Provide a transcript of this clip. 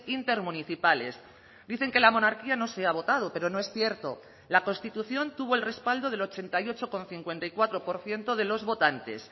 intermunicipales dicen que la monarquía no se ha votado pero no es cierto la constitución tuvo el respaldo del ochenta y ocho coma cincuenta y cuatro por ciento de los votantes